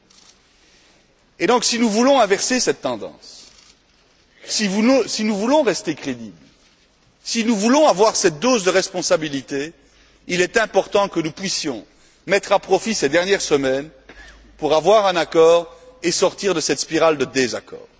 Par conséquent, si nous voulons inverser cette tendance, si nous voulons rester crédibles, si nous voulons avoir cette dose de responsabilité, il est important que nous puissions mettre à profit ces dernières semaines pour parvenir à un accord et sortir de cette spirale de désaccord.